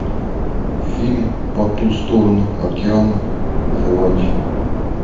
фильм по ту сторону океана заводи